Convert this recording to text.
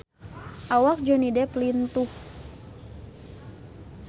Awak Johnny Depp lintuh